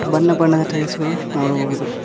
ಬಣ್ಣ ಬಣ್ಣದ ಟೈಲ್ಸ್ ಗಳು ನೋಡಬಹುದು.